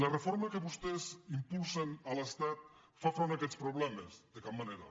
la reforma que vostès impulsen a l’estat fa front a aquests problemes de cap manera